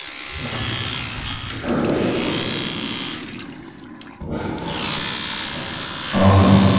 સારું હહ